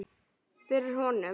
Fyrir honum.